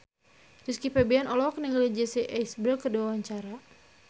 Rizky Febian olohok ningali Jesse Eisenberg keur diwawancara